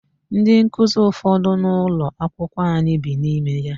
Ndị nkuzi ụfọdụ nọ n'ụlọakwụkwọ anyị bi n'ime ya.